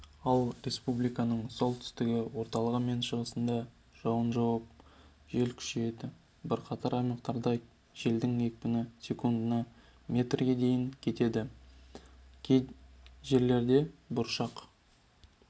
ал республиканың солтүстігі орталығы мен шығысында жауын жауып жел күшейеді бірқатар аймақтарда желдің екпіні секундына метрге дейін жетеді кей жерлерде бұршақ